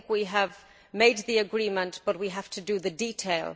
I think we have made the agreement but we have to do the detail.